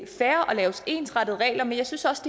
lave ensartede regler men jeg synes også